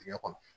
Dingɛ kɔnɔ